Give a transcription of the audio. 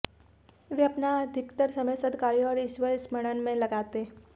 वे अपना अधिकतर समय सद्कार्यों और ईश्वर स्मरण में लगाते